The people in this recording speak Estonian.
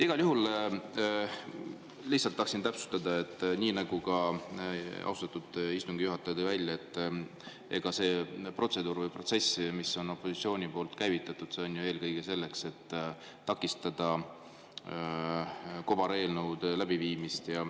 Igal juhul lihtsalt tahtsin täpsustada, nii nagu ka austatud istungi juhataja tõi välja, et see protseduur või protsess, mille opositsioon on käivitanud, on ju eelkõige selleks, et takistada kobareelnõude läbiviimist.